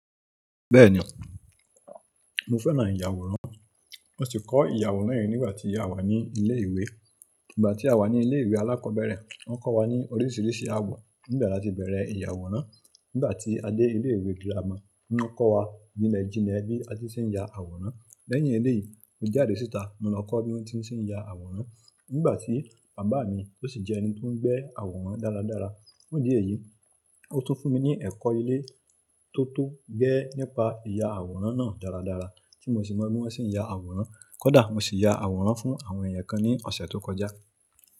Bẹ́ẹ̀ni, mo fẹ́ràn ìyàwòrán. Mo si kọ́ ìyàwòrán yen nígbà tí a wà ní ilé ìwé. Nígbà tí a wà ní ilé ìwé alákọ̀ọ́bẹ̀rẹ̀, wọ́n kọ́ wa ní oríṣiríṣi àwọ̀. Nígbà tí a ti bẹ̀rẹ̀ ìyàwòrán, nígbà tí a dé ilé ìwé girama, wọ́n kọ́ wa jìnlẹ jìnlẹ bí a ti ṣe ń ya àwòrán. Lẹyìn eléyìí mo jáde si ìta mo lọ kò bi wọn ti ṣe n ya aworan. Nígbà tí bàbá mi tó sì jẹ́ ẹni tó ń gbé àwòrán dáradára. Fun idi èyí, ó tún fún mi ní ẹ̀kọ́ ilé tó tó gẹ́ nípa ìyà àwòrán náà dáradára tí mo sì mọ bí wọ́n ṣe ń ya àwòrán. Kódà mo sì ya àwòrán fún àwọn ẹ̀yàn kan ní ọ̀sẹ̀ tó kọjá.